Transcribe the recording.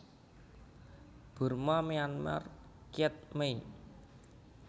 Burma Myanmar kyet mei